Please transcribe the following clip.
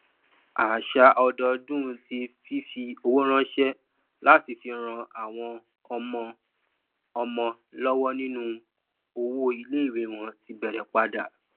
àṣà ọdọọdún ti fífi owó ránṣẹ láti fi ran àwọn ọmọ ọmọ lọwọ nínú owó iléìwé wọn ti bẹrẹ padà